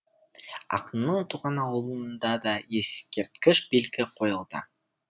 ақынның туған ауылында да ескерткіш белгі қойылды